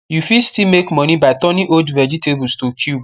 u fit still make money by turning old vegetables to cube